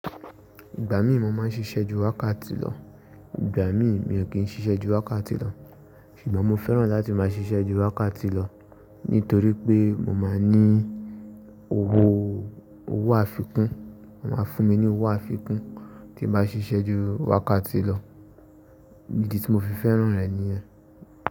Ìgbà mí mo máa ń ṣiṣẹ́ ju wákàtí lọ, ìgbà mí mi ò kí ń ṣiṣẹ́ ju wákàtí lọ. Ṣùgbọ́n mo fẹ́ràn láti máa ṣiṣẹ́ ju wákàtí lọ nítorí pé mo máa ní owó, owó àfikún. Wọ́n a fún mi ní owó àfikún tí mo bá ṣiṣẹ́ ju wákàtí lọ. Idi tí mo fi fẹ́ràn rẹ̀ nìyẹn.